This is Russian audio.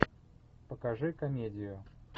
покажи комедию